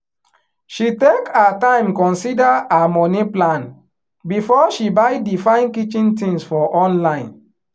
she take her time consider her money plan before she buy the fine kitchen things for online